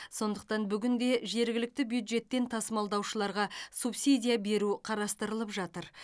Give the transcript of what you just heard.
сондықтан бүгінде жергілікті бюджеттен тасымалдаушыларға субсидия беру қарастырылып жатыр